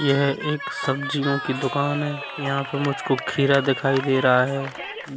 यह एक सब्जियों की दुकान है यहाँ पर मुझको खीरा दिखाई दे रहा है